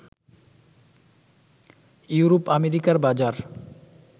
ইউরোপ-আমেরিকার বাজার